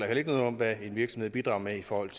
heller ikke noget om hvad en virksomhed bidrager med i forhold